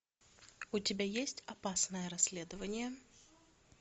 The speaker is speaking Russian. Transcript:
у тебя есть опасное расследование